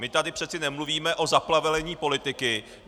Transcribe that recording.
My tady přece nemluvíme o zaplevelení politiky.